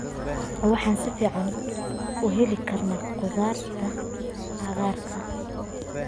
Waxaan si fiican u heli karnaa khudaarta cagaaran.